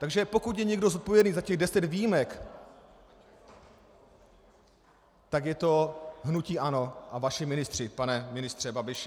Takže pokud je někdo zodpovědný za těch deset výjimek, pak je to hnutí ANO a vaši ministři, pane ministře Babiši.